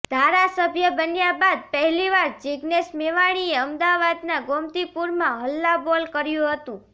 ધારાસભ્ય બન્યા બાદ પહેલી વાર જિજ્ઞેશ મેવાણીએ અમદાવાદના ગોમતીપુરમાં હલ્લાબોલ કર્યું હતું